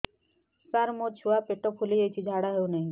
ସାର ମୋ ଛୁଆ ପେଟ ଫୁଲି ଯାଉଛି ଝାଡ଼ା ହେଉନାହିଁ